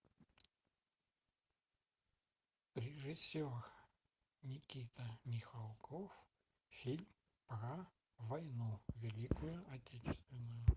режиссер никита михалков фильм про войну великую отечественную